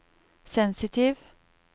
sensitiv